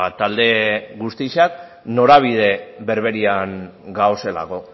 talde guztiak norabide berberean gaudelako